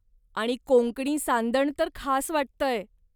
आणि कोंकणी सांदण तर खास वाटतंय.